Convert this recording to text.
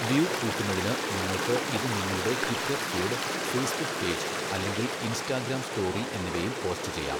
View കൂട്ടുന്നതിന് നിങ്ങൾക്ക് ഇത് നിങ്ങളുടെ ട്വിറ്റർ ഫീഡ്, ഫേസ്ബുക് പേജ് അല്ലെങ്കിൽ ഇൻസ്റ്റാഗ്രാം സ്റ്റോറി എന്നിവയിൽ പോസ്റ്റ് ചെയ്യാം.